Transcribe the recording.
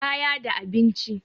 kaya da abinci